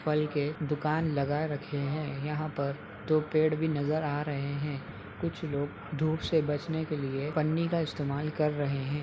फल के दुकान लगा रखे हैं। यहाँ पर दो पेड़ भी नजर आ रहे हैं। कुछ लोग धूप से बचने के लिए पन्नी का इस्तमल कर रहे हैं।